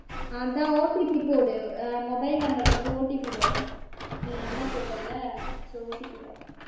அதான் OTP போடு அஹ் mobile number க்கு வந்து OTP வரும். நீ number போட்டல்ல so OTP வரும்